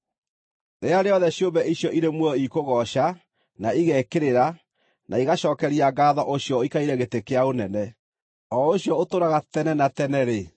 Rĩrĩa rĩothe ciũmbe icio irĩ muoyo ikũgooca, na igekĩrĩra, na igacookeria ngaatho ũcio ũikarĩire gĩtĩ kĩa ũnene, o ũcio ũtũũraga tene na tene-rĩ,